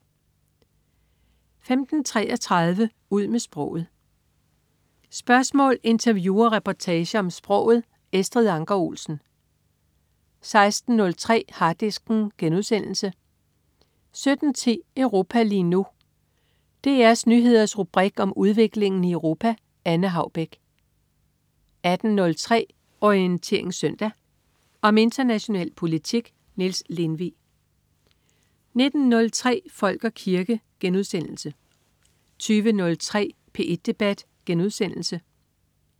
15.33 Ud med sproget. Spørgsmål, interview og reportager om sproget. Estrid Anker Olsen 16.03 Harddisken* 17.10 Europa lige nu. DR Nyheders rubrik om udviklingen i Europa. Anne Haubek 18.03 Orientering Søndag. Om international politik. Niels Lindvig 19.03 Folk og kirke* 20.03 P1 Debat*